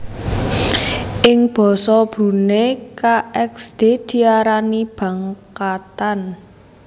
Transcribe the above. Ing basa Brunei kxd diarani bangkatan